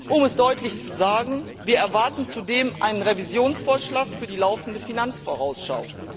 Um es deutlich zu sagen Wir erwarten zudem einen Revisionsvorschlag für die laufende Finanzielle Vorausschau.